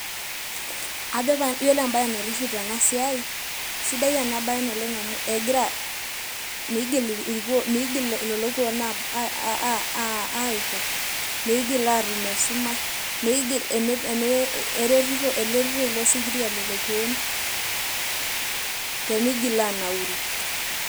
Ajo pae wore embaye naitiship tena siai, sidai ena baye naleng' amu egira; miigil lelo kuuon aatum esumash, eretito ilo sikiria lelo kuon pee miigil aanauru.